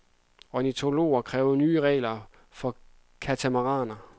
Ornitologer kræver nye regler for katamaraner.